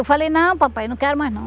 Eu falei, não, papai, não quero mais, não.